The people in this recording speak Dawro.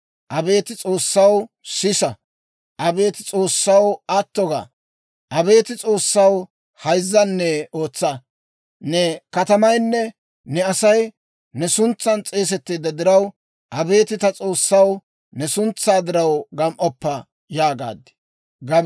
«Abeet S'oossaw, sisa! Abeet S'oossaw, atto ga! Abeet S'oossaw, hayzzanne ootsa! Ne katamaynne ne Asay ne suntsan s'eesetteedda diraw, abeet ta S'oossaw, ne suntsaa diraw gam"oppa» yaagaad.